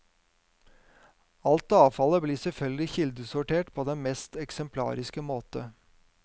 Alt avfallet blir selvfølgelig kildesortert på den mest eksemplariske måte.